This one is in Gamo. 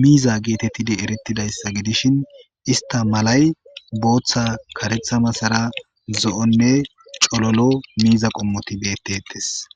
miiza geetettidi erettidayssa gidishin ista malay booththa karetha masara zo7onne cololo miiza qommoti bettetes